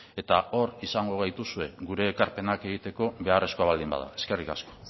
eta hor izango gaituzue gure ekarpenak egiteko beharrezkoa baldin bada eskerrik asko